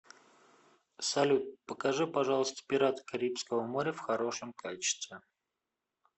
салют покажи пожалуйста пираты карибского моря в хорошем качестве